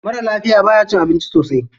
Maran lafiya baya cin abinci sosai.